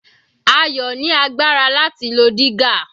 Ayo ni agbára láti lo dígà.